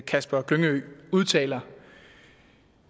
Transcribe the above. kasper glyngø udtaler